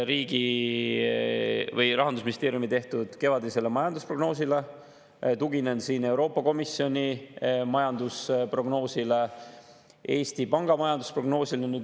Tuginen Rahandusministeeriumi tehtud kevadisele majandusprognoosile, Euroopa Komisjoni majandusprognoosile ja Eesti Panga majandusprognoosile.